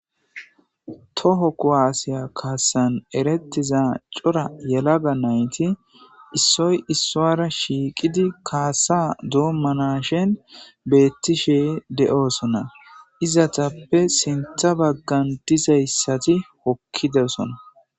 Toho kuwasiya kassan erettiza cora yelaga nayti issoy issuwara shiiqidii kaasa doommanashen beettishe de'oosona izetappe sinththa baggan dizayssati hokkidesonna